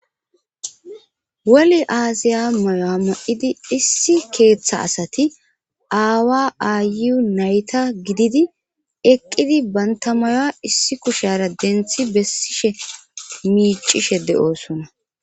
woli aasiya mayo7a ma7idi issi keeththa asati aawa aayu nayta gididi eqqidi bantamaya issi kushyara denthi bessishe miicishe de7oosona